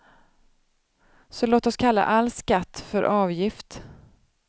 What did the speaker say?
Så låt oss kalla all skatt för avgift.